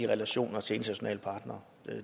relationer til internationale partnere